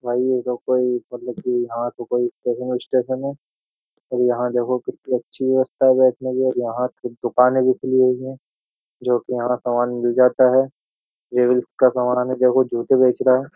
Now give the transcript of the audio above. भाई ये तो कोई मतलब कि यहां तो कोई स्टेशन है और यहां देखो कितनी अच्छी व्यवस्था है बैठने की और यहां दुकानें भी खुली हुई है जो कि यहां सामान मिल जाता है। का सामान है देखो जूते बेच रहा है।